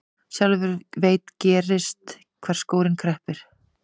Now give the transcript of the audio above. Sjálfur veit gerst hvar skórinn kreppir.